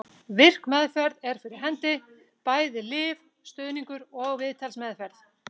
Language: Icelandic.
Virk meðferð er fyrir hendi, bæði lyf, stuðningur og viðtalsmeðferð.